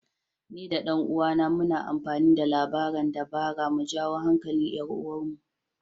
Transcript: Ni da ɗan uwana muna amfani da labaran dabara mu jawo hankalin 'yar uwarmu.